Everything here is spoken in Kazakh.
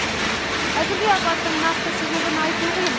әзірге апаттың нақты себебін айту қиын